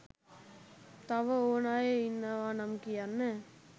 තව ඔන අය ඉන්නවා නම් කියන්න